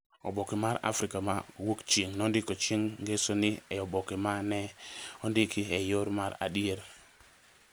Oboke mar Afrika ma Wuokchieng’ nondiko chieng’ ngeso ni e oboke ma ne ondiki e yo mar adier.